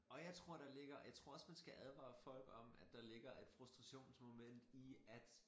Og jeg tror der ligger jeg tror også man skal advare folk om at der ligger et frustrationsmoment i at